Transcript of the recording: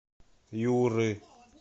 юры